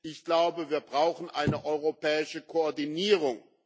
Ich glaube, wir brauchen eine europäische Koordinierung.